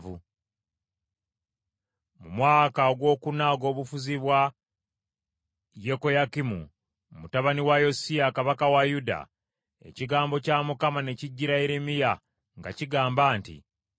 Mu mwaka ogwokuna ogw’obufuzi bwa Yekoyakimu mutabani wa Yosiya kabaka wa Yuda ekigambo kya Mukama ne kijjira Yeremiya nga kigamba nti,